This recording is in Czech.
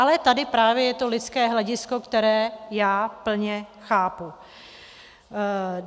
Ale tady právě je to lidské hledisko, které já plně chápu.